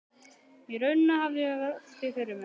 Í rauninni hafði ég aldrei velt því fyrir mér.